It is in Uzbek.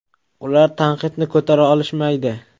Ular tanqidni ko‘tara olishmaydi.